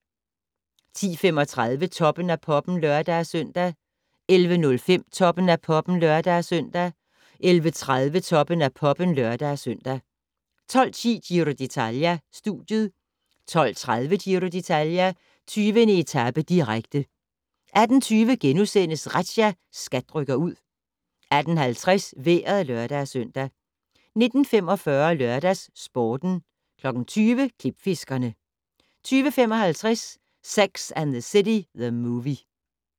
10:35: Toppen af Poppen (lør-søn) 11:05: Toppen af Poppen (lør-søn) 11:30: Toppen af Poppen (lør-søn) 12:10: Giro d'Italia: Studiet 12:30: Giro d'Italia: 20. etape, direkte 18:20: Razzia - SKAT rykker ud * 18:50: Vejret (lør-søn) 19:45: LørdagsSporten 20:00: Klipfiskerne 20:55: Sex and the City: The Movie